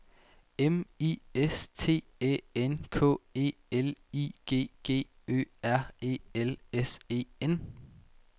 M I S T Æ N K E L I G G Ø R E L S E N